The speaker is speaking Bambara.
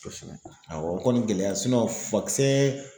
Awɔ o kɔni gɛlɛya